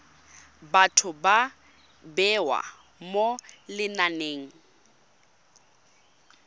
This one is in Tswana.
batho ba bewa mo lenaneng